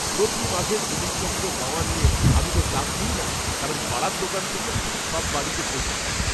প্রতি মাসের জিনিসপত্র পাওয়া নিয়ে আমি তো চাপ নিই না কারণ পাড়ার দোকান থেকে ঠিক সব বাড়িতে পৌঁছে দেয়।